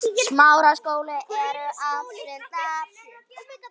Það hefur þróast þannig.